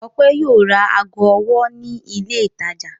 Ọpẹ́ yóò ra ago ọwọ́ ní ilé-ìtajà.